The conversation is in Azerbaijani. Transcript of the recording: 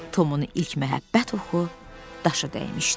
Tomun ilk məhəbbət oxu daşa dəymişdi.